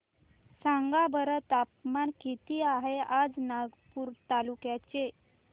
सांगा बरं तापमान किता आहे आज नवापूर तालुक्याचे